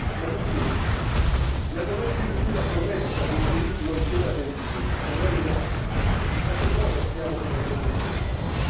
Ma mi chiedo nel momento in cui la promessa dei diritti non viene adempiuta o è rimossa, da che cosa stiamo prendendo congedo?